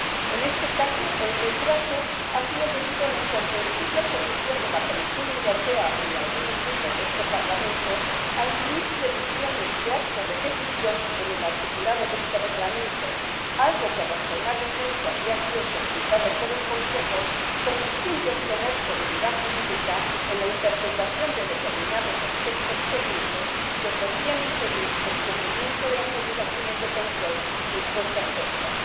En este caso, el retraso ha sido debido a la incomprensible oposición de la Comisión Europea y de algunos grupos de este Parlamento a incluir previsiones de actos de ejecución en el articulado de este Reglamento, algo que razonablemente había sido solicitado por el Consejo, con el fin de obtener seguridad jurídica en la interpretación de determinados aspectos técnicos que podrían impedir el cumplimiento de las obligaciones de control impuestas por la CICAA.